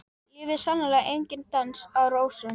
Lífið er sannarlega enginn dans á rósum.